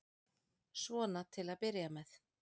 Svona til að byrja með.